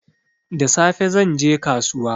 Da safe zan je kasuwa